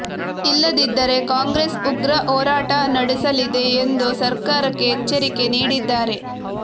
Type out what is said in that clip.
ಇಲ್ಲದಿದ್ದರೆ ಕಾಂಗ್ರೆಸ್ ಉಗ್ರ ಹೋರಾಟ ನಡೆಸಲಿದೆ ಎಂದು ಸರ್ಕಾರಕ್ಕೆ ಎಚ್ಚರಿಕೆ ನೀಡಿದ್ದಾರೆ